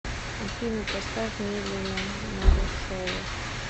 афина поставь медленно марушова